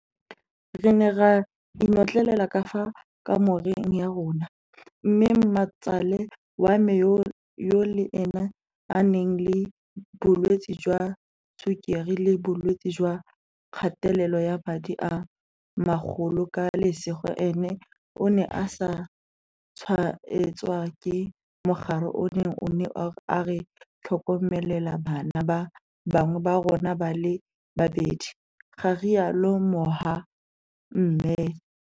"Re ne ra inotlelela ka fa kamoreng ya rona, mme mmatsale wa me yo le ene a nang le bolwetse jwa tshukiri le bolwetse jwa kgatelelo ya madi a magolo ka lesego ene o ne a sa tshwaetswa ke mogare ono o ne a re tlhokomelela bana ba bangwe ba rona ba le babedi," ga rialo Moha-mmed.